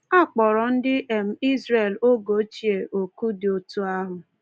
A kpọrọ ndị um Izrel oge ochie oku dị otu ahụ.